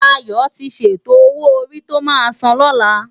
Dayo ti sétó ówó órí tó má sán lòlá